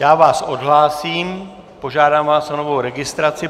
Já vás odhlásím, požádám vás o novou registraci.